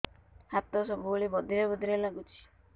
ହାତ ସବୁବେଳେ ବଧିରା ବଧିରା ଲାଗୁଚି